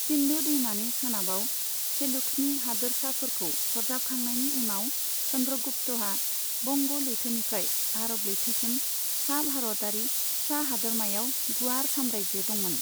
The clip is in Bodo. सिन्धु दैमानि सोनाबाव सेलुकसनि हादोरसाफोरखौ सरजाबखांनायनि उनाव, चंद्रगुप्तहा बंग' लैथोनिफ्राय आरब लैथोसिम सा भारतारि फिसा हादोरमायाव गुवार साम्रायजो दंमोन।